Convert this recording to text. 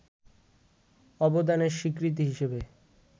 অবদানের স্বীকৃতি হিসেবে